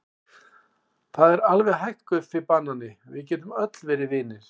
Það er alveg hægt Guffi banani, við getum öll verið vinir.